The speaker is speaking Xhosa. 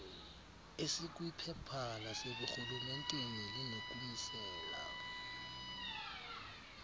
esikwiphepha laseburhulementeni linokumisela